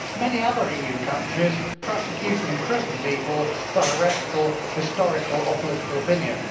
Many other EU countries prosecute and imprison people for heretical, historical or political opinion.